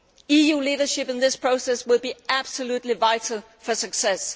EU leadership in this process will be absolutely vital for success.